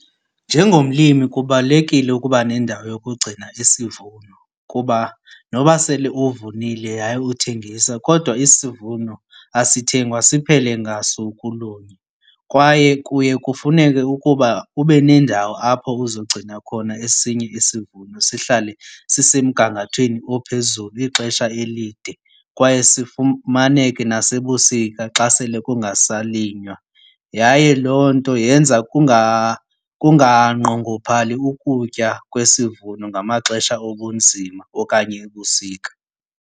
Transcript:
Njengomlimi kubalulekile ukuba nendawo yokugcina isivuno kuba noba sele uvunile yaye uthengisa kodwa isivuno asithengwa siphele ngasuku lunye. Kwaye kuye kufuneke ukuba ube nendawo apho uzogcina khona esinye isivuno sihlale sisemgangathweni ophezulu ixesha elide. Kwaye sifumaneke nasebusika xa sele kungasalinywa. Yaye loo nto yenza kunganqongophali ukutya kwesivuno ngamaxesha obunzima okanye ebusika.